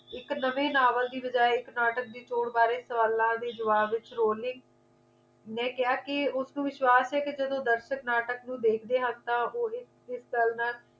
ਇੱਕ ਨਵੇ novel ਦੀ ਬਜਾਇ ਇੱਕ ਨਾਟਕ ਦੀ ਚੋਣ ਬਾਰੇ ਸਵਾਲਾਂ ਦੇ ਜਵਾਬ ਦੇ ਵਿਚ rolling ਨੇ ਕਿਹਾ ਕੇ ਉਸ ਨੂੰ ਵਿਸ਼ਵਾਸ ਹੈ ਕਿ ਜਦੋਂ ਦਰਸ਼ਕ ਨਾਟਕ ਨੂੰ ਦੇਖਦੇ ਹਨ ਤਾਂ ਇਸ ਗੱਲ ਨਾਲ